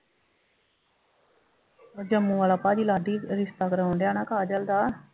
ਵੱਡੇ ਮੂੰਹ ਵਾਲਾ ਭਾਜੀ ਲਾਡੀ ਰਿਸ਼ਤਾ ਕਰਾਉਣ ਡਿਆ ਨਾ ਕਾਜਲ ਦਾ